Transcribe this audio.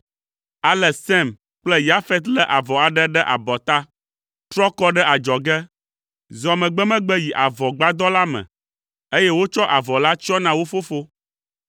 Ale Sem kple Yafet lé avɔ aɖe ɖe abɔta, trɔ kɔ ɖe adzɔge, zɔ megbemegbe yi avɔgbadɔ la me, eye wotsɔ avɔ la tsyɔ na wo fofo.